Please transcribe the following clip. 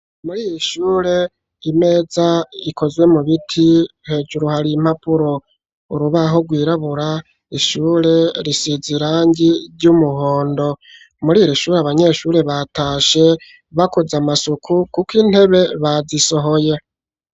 Muri iri shure imeza ikozwe mu biti hejuru hari impapuro urubaho rwirabura ishure risizi irangi ry'umuhondo muri iri shure abanyeshure batashe bakoze amasuku kuko intebe bazisohoye.